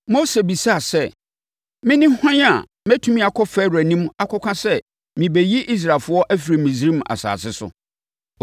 Mose bisaa sɛ, “Mene hwan a mɛtumi akɔ Farao anim akɔka sɛ merebɛyi Israelfoɔ afiri Misraim asase so?”